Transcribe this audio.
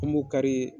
An b'o kari